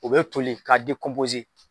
O be toli k'a